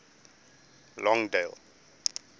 longdale